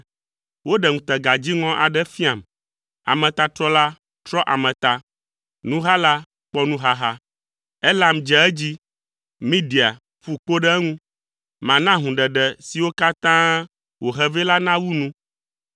Woɖe ŋutega dziŋɔ aɖe fiam; ametatrɔla trɔ ame ta, nuhala kpɔ nuhaha. Elam dze edzi! Media ƒu kpo ɖe eŋu! Mana hũɖeɖe siwo katã wòhe vɛ la nawu nu.